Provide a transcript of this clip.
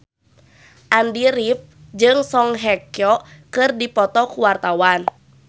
Andy rif jeung Song Hye Kyo keur dipoto ku wartawan